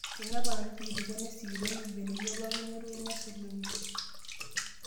Teneponari irkitipot nesikitonu embeneyio pooki netoyu nesulunye.